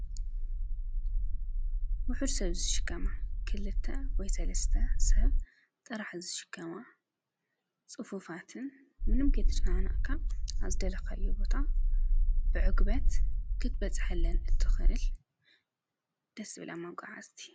ውሕድ ሰብ ዝሽከማ ክልተ ወይ ሰለስተ ሰብ ጥራሕ ዝሽከማ ፅፉፋትን ምንም ከይተጨናነቕካ ናብ ዝደለካዮ ቦታ ብዕግበት ክትበፅሓለን እትኽእል ደስ ዝብላ መጎዓዕዝቲ